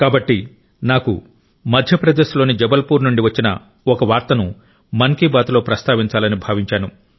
కాబట్టి నాకు మధ్యప్రదేశ్ లోని జబల్పూర్ నుండి వచ్చిన ఒక వార్తను మన్ కీ బాత్ లో ప్రస్తావించాలని భావించాను